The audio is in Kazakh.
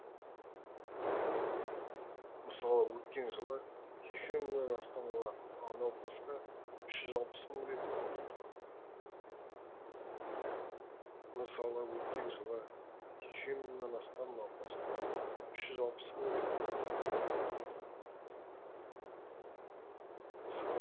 мысалы өткен жылы сексен мыңнан астам науқасқа үш жүз алпыс мың рет қан құйылған